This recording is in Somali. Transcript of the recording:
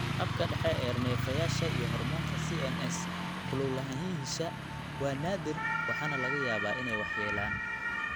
Habka dhexe ee neerfayaasha (CNS) iyo hoormoonka CNS ku lug lahaanshiyaha waa naadir waxaana laga yaabaa inay wax yeelaan.